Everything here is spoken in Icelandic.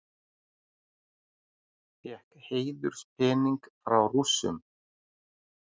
Fékk heiðurspening frá Rússum